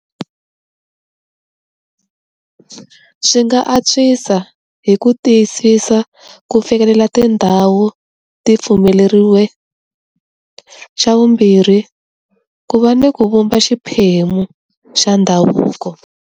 Swi nga antswisa hi ku tiyisisa, ku fikelela tindhawu ti pfumeleriweke. Xa vumbirhi, ku va ni ku vumba xiphemu xa ndhavuko.